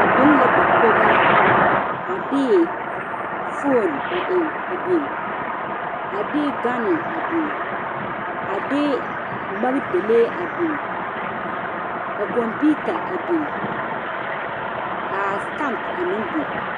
Ba biŋ la dakogi a de foone a eŋ a de gane a biŋ a de magdalee a biŋ ka kɔmpiita a biŋ ka a stamp a meŋ biŋ.